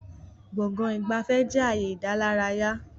Gbọ̀ngán ìgbafẹ́ jẹ ààyè ìdálárayá